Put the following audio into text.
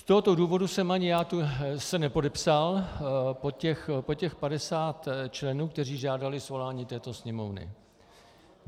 Z tohoto důvodu jsem ani já se nepodepsal pod těch 50 členů, kteří žádali svolání této Sněmovny.